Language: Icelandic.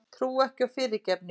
Trúi ekki á fyrirgefningu.